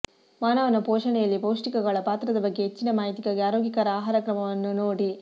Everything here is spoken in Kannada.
ಮಾನವನ ಪೋಷಣೆಯಲ್ಲಿ ಪೌಷ್ಟಿಕಗಳ ಪಾತ್ರದ ಬಗ್ಗೆ ಹೆಚ್ಚಿನ ಮಾಹಿತಿಗಾಗಿ ಆರೋಗ್ಯಕರ ಆಹಾರಕ್ರಮವನ್ನು ನೋಡಿ